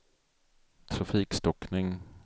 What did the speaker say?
trafikstockning